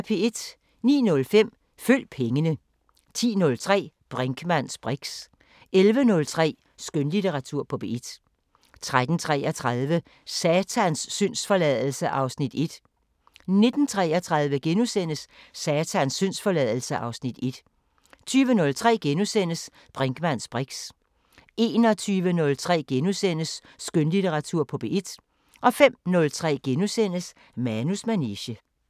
09:05: Følg pengene 10:03: Brinkmanns briks 11:03: Skønlitteratur på P1 13:33: Satans syndsforladelse (Afs. 1) 19:33: Satans syndsforladelse (Afs. 1)* 20:03: Brinkmanns briks * 21:03: Skønlitteratur på P1 * 05:03: Manus manege *